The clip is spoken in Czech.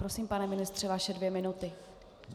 Prosím, pane ministře, vaše dvě minuty.